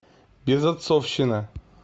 безотцовщина